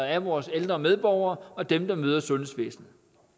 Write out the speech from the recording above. af vores ældre medborgere og dem der møder sundhedsvæsenet